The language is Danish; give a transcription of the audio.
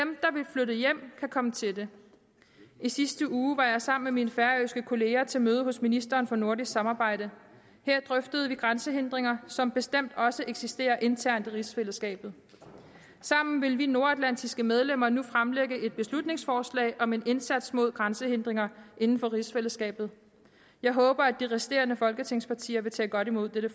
vil flytte hjem kan komme til det i sidste uge var jeg sammen med mine færøske kolleger til møde hos ministeren for nordisk samarbejde her drøftede vi grænsehindringer som bestemt også eksisterer internt i rigsfællesskabet sammen vil vi nordatlantiske medlemmer nu fremlægge et beslutningsforslag om en indsats mod grænsehindringer inden for rigsfællesskabet jeg håber at de resterende folketingspartier vil tage godt imod dette